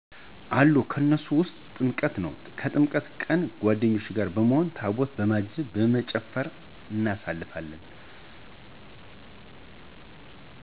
አሉ ከነሱም ውስጥ ጥምቀት ነው። የጥምቀት ቀን ከጓደኞቼ ጋር በመሆን ታቦታቱን በማጀብ በመጨፈር እናሳልፋለን።